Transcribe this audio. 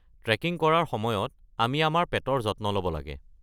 Trekking কৰাৰ সময়ত আমি আমাৰ পেটৰ যত্ন ল’ব লাগে।